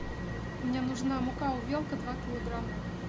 мне нужна мука увелка два килограмма